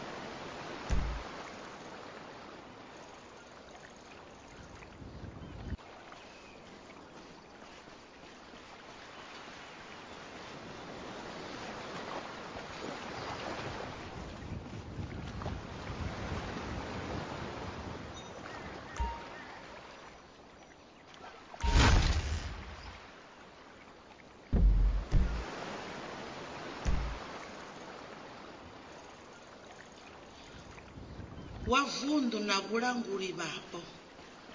wa vunddu na vhalanguli vhapo